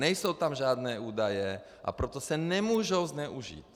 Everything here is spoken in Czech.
Nejsou tam žádné údaje, a proto se nemůžou zneužít.